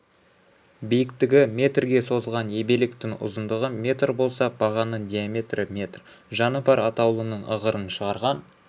биіктігі метрге созылған ебелектің ұзындығы метр болса бағанның диаметрі метр жаны бар атаулының ығырын шығарған